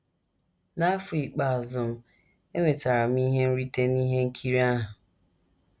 N’afọ ikpeazụ m, enwetara m ihe nrite n’ihe nkiri ahụ.